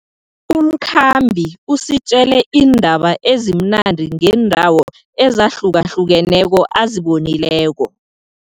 Umkhambi usitjele iindaba ezimnandi ngeendawo ezahlukahlukeneko azibonileko.